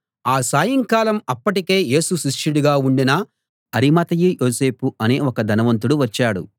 ఆ సాయంకాలం అప్పటికే యేసు శిష్యుడుగా ఉండిన అరిమతయి యోసేపు అనే ఒక ధనవంతుడు వచ్చాడు